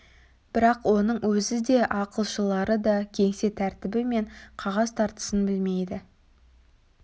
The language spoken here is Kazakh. бірақ оның өзі де ақылшылары да кеңсе тәртібі мен қағаз тартысын білмейді